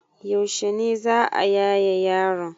Yaushe ne za a yaye yaron?